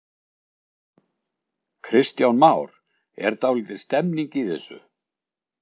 Kristján Már: Er dálítil stemning í þessu?